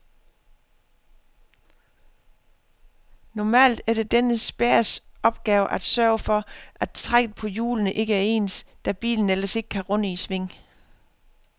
Normalt er det denne spærres opgave at sørge for, at trækket på hjulene ikke er ens, da bilen ellers ikke kan runde i sving.